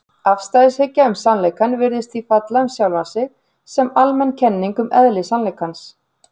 Afstæðishyggja um sannleikann virðist því falla um sjálfa sig sem almenn kenning um eðli sannleikans.